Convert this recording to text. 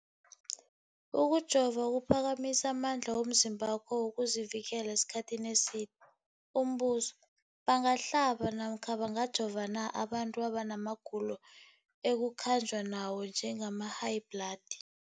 Ukujova kuphakamisa amandla womzimbakho wokuzivikela isikhathi eside. Umbuzo, bangahlaba namkha bangajova na abantu abana magulo ekukhanjwa nawo, njengehayibhladi?